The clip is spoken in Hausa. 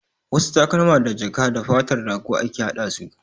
Wasu takalma da jaka da fatar rago ake hada su